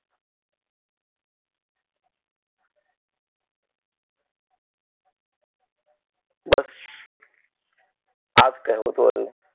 બસ આ જ કહેવુ હતું હવે